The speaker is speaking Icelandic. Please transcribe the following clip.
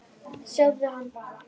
Sjáðu hana bara!